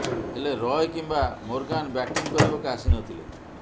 ହେଲେ ରୟ କିମ୍ବା Morgan batting କରିବାକୁ ଆସି ନଥିଲେ